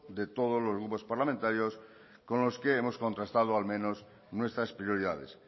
de todos los grupos parlamentarios con los que hemos contrastado al menos nuestras prioridades